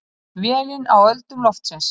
Vélin á öldum loftsins.